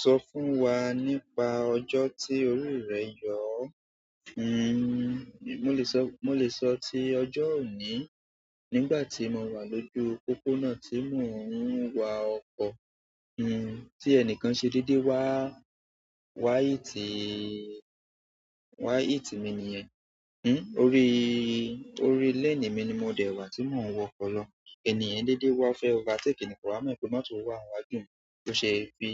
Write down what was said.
Sọ fún wa nípa ọjọ́ tí orí rẹ yọ̀ o? Mo lè sọ, mo lè sọ tí ọjọ́ òní. Nígbà tí mo wà lójú pópónà tí mò ń wa ọkọ́, tí ẹnìkan ṣe dédé wá, wá hit, wá hit mi nìyẹn. Orí, orí lane mi ni mo dẹ̀ wà tí mò ń wọ ọkọ́ lọ. Ènì yen dédé wá o fẹ́ overtake nì, ko wá mọ̀ pé mọ́tò wà níwájú mi, tó ṣe fi,